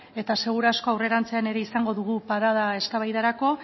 eta seguraski aurrerantzean ere izango dugu parada eztabaidarako